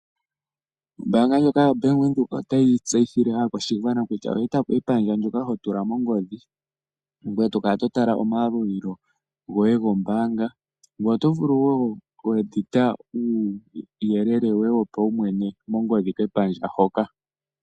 Ombanga ndjoka yaVenduka otayi tseyithile aakwashigwana kutya olya etapo epandjo ndyoka hotula mongodhi ngoye tokala hotala omayalulilo goye gombaanga ngoye oto vulu woo okuedita uuyelele woye wopaumwe mongodhi kepandja hoka.